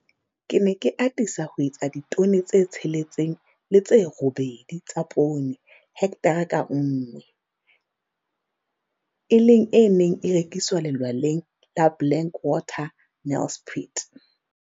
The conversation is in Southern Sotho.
Ke ne ke atisa ho etsa ditone tse 6 le tse 8 tsa poone hekthara ka nngwe, e leng e neng e rekiswa Lelwaleng la Blank Water, Nelspruit.